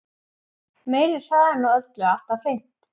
Meiri hraðinn á öllu alltaf hreint.